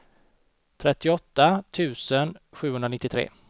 trettioåtta tusen sjuhundranittiotre